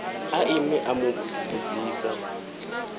a ime a mu vhudzisa